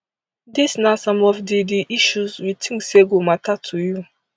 dis na some of di di issues we think say go mata to you